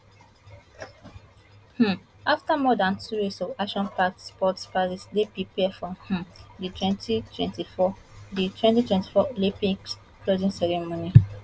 um afta more dan two weeks of actionpacked sport paris dey prepare for um di twenty twenty four di twenty twenty four olympics closing ceremony